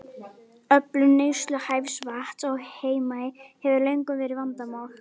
Öflun neysluhæfs vatns á Heimaey hefur löngum verið vandamál.